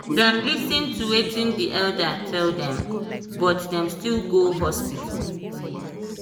dem lis ten to watin the elder tell them but dem still go hospital